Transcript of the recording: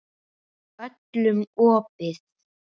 Öllum opið.